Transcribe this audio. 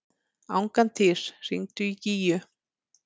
Angantýr, hringdu í Gígju.